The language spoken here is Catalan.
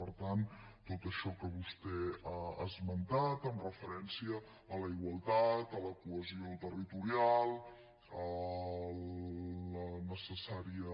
per tant tot això que vostè ha esmentat amb referència a la igualtat a la cohesió territorial a la necessària